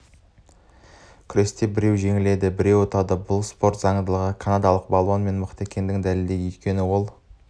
күресте біреу жеңіледі біреуі ұтады бұл спорттың заңдылығы канадалық балуан менен мықты екенін дәлелдеді өйткені ол